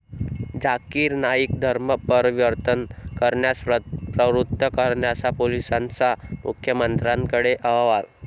झाकिर नाईक धर्म परिवर्तन करण्यास प्रवृत्त करायचा, पोलिसांचा मुख्यमंत्र्यांकडे अहवाल